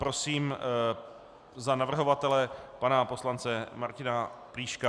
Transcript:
Prosím za navrhovatele pana poslance Martina Plíška.